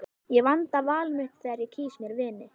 Ég vanda val mitt þegar ég kýs mér vini.